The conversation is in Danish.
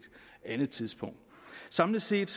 andet tidspunkt samlet set